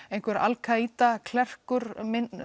einhver Al ka Ida klerkur